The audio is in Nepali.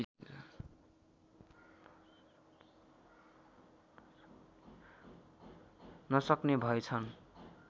नसक्ने भएछन्